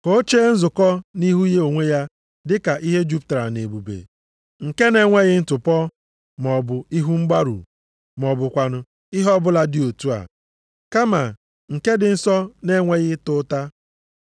Ka o chee nzukọ nʼihu ya onwe ya dị ka ihe jupụtara nʼebube, nke na-enweghị ntụpọ, maọbụ ihu mgbarụ ma ọ bụkwanụ ihe ọbụla dị otu a. Kama nke dị nsọ na-enweghị ịta ụta.